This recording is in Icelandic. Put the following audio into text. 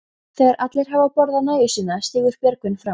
Þegar allir hafa borðað nægju sína stígur Björgvin fram.